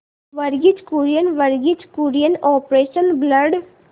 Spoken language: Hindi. Verghese Kurien Verghese Kurien operation blood